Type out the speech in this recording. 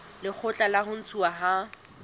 lekgotla la ho ntshuwa ha